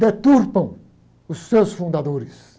Deturpam os seus fundadores.